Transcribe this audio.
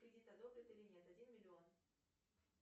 кредит одобрят или нет один миллион